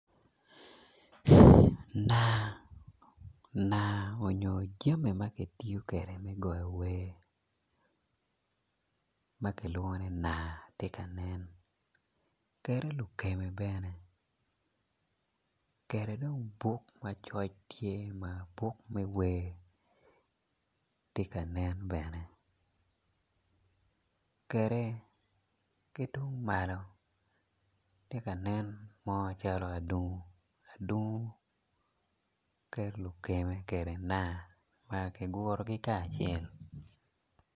Nanga nyo jami ma kitiyo kwede me goyo wer ma kilwongo ni nanga tye ka nen kede lukeme bene kede dong buk ma coc tye ma buk me wer tye ka nen bene kede ki tung malo tye ka nen mo calo adungu kede lukeme kede nanga nanga kigurogi kacel.